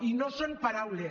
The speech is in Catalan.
i no són paraules